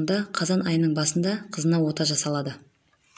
онда қазан айының басында қызына ота жасалады